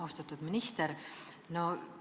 Austatud minister!